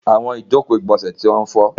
Àwọn ìjọkò igbónsẹ̀ tí wọ́n fọ́.